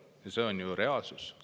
Ja see on reaalsus.